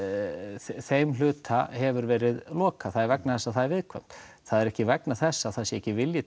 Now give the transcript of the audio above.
þeim hluta hefur verið lokað það er vegna þess að það er viðkvæmt það er ekki vegna þess að það sé ekki vilji